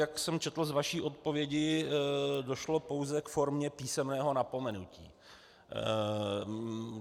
Jak jsem četl z vaší odpovědi, došlo pouze k formě písemného napomenutí.